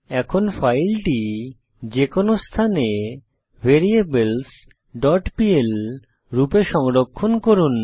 এখন ফাইলটি যেকোনো স্থানে variablesপিএল রূপে সংরক্ষণ করুন